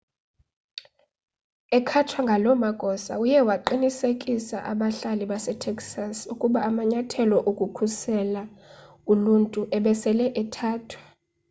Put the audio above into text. ekhatshwa ngaloo magosa uye waqinisekisa abahlali basetexas ukuba amanyathelo okukhusela uluntu ebesele ethathwa